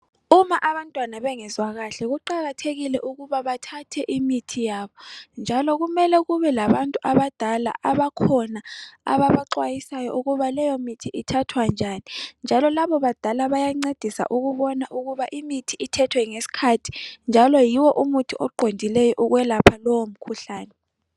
Uma abantwana bengezwa kuhle kuqakathekile ukuba bathathe imithi yabo njalo kumele kube labantu abadala abakhona ababaxwayisayo ukuthi leyo mithi ithathwa njani njalo labo badala bayancedisa ukubona ukuba imithi ithethwe ngesikhathi njalo yiwo umuthi oqondileyo ukwelapha lowo mkhuhlane.